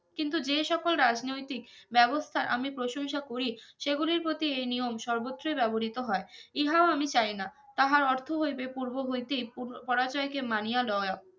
কিন্তু যে সকল রাজনৈতিক ব্যবস্থা আমি প্রশংসা করি সেগুলির প্রতি ঐ নিয়ম সর্বত্রই ব্যবহিত হয় ইহাও আমি চাই না তাহার অর্থো হইবে পুর্ব হইতিব পরাজয় কে মানিয়া লয়া